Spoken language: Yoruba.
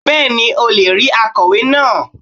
Bẹ́ẹ̀ni o le rí akọ̀wé náà